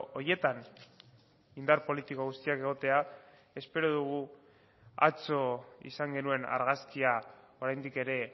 horietan indar politiko guztiak egotea espero dugu atzo izan genuen argazkia oraindik ere